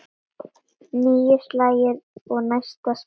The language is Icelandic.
Níu slagir og næsta spil.